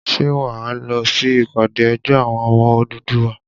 Ṣé wà á lọ sí ìpàdé ẹgbẹ́ àwọn ọmọ Odùduwà?